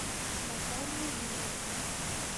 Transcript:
наталья юрьевна